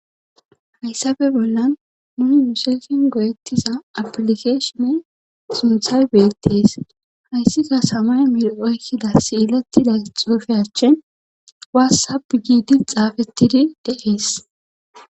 Hayssabe bollan nu musesin goyettiza apilikeshone sunthay beettees hayssika samay mil oykkida siilatida xuufe achin waassab giidi xaafettidi de7ees.